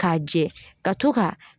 K'a jɛ ka to ka